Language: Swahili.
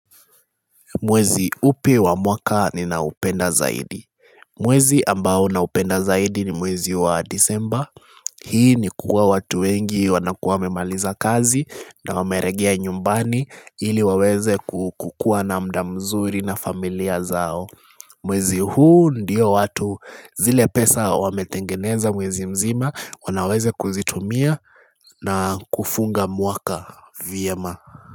Mwezi upi wa mwaka ni na upenda zaidi? Mwezi ambao na upenda zaidi ni mwezi wa Disemba Hii ni kuwa watu wengi wanakuwa wamemaliza kazi na wameregia nyumbani ili waweze kukua na muda mzuri na familia zao Mwezi huu ndiyo watu zile pesa wametengeneza mwezi mzima wanaweze kuzitumia na kufunga mwaka vyema.